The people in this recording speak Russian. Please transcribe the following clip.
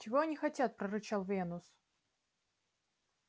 чего они хотят прорычал венус